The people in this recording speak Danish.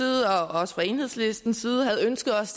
også fra enhedslistens side havde ønsket os